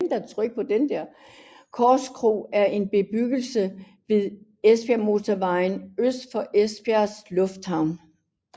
Korskro er en bebyggelse ved Esbjergmotorvejen øst for Esbjerg Lufthavn